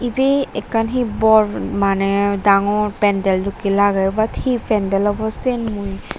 ibey ekkan hee bor maneh dangor pendel dokkey lager but hee pendel obo siyen mui.